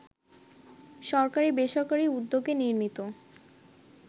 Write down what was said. সরকারি-বেসরকারি উদ্যোগে নির্মিত